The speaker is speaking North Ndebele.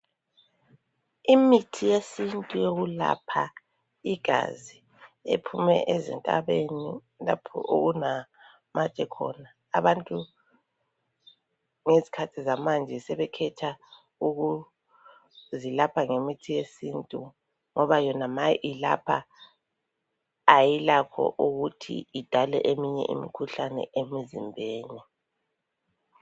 Imithi yesintu yokulapha igazi ephuma ezintabeni lapho okunamatshe khona, abantu ngezikhathi zamanje sebekhetha ukuvilapha ngemithi yesintu ngoba yona ma ilapha ayilakho ukuthi idale eminye imikhuhlane emzimbeni